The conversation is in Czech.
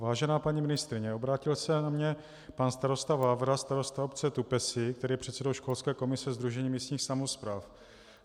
Vážená paní ministryně, obrátil se na mě pan starosta Vávra, starosta obce Tupesy, který je předsedou školské komise Sdružení místních samospráv.